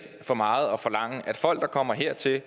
for meget at forlange af folk der kommer hertil og